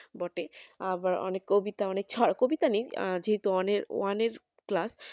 বটে আবার অনেক কবিতা অনেক কবিতা নেই যেহেতু one এর class